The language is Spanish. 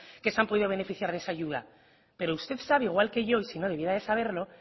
que se han podido beneficiar de esa ayuda pero usted sabe al igual que yo y si no debería de saberlo